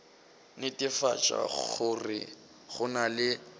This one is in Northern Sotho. netefatša gore go na le